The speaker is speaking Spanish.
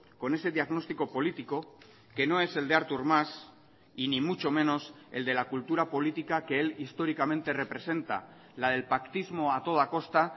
con ese diagnóstico político que no es el de artur mas y ni mucho menos el de la cultura política que él históricamente representa la del pactismo a toda costa